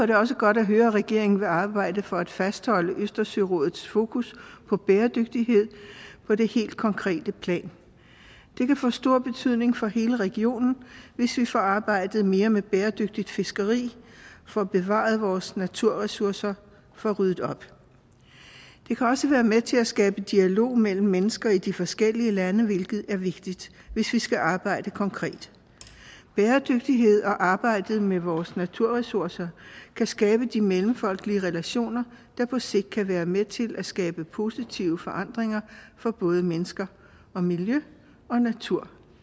det også godt at høre at regeringen vil arbejde for at fastholde østersørådets fokus på bæredygtighed på det helt konkrete plan det kan få stor betydning for hele regionen hvis vi får arbejdet mere med bæredygtigt fiskeri får bevaret vores naturressourcer og får ryddet op det kan også være med til at skabe dialog mellem mennesker i de forskellige lande hvilket er vigtigt hvis vi skal arbejde konkret bæredygtighed og arbejdet med vores naturressourcer kan skabe de mellemfolkelige relationer der på sigt kan være med til at skabe positive forandringer for både mennesker og miljø og natur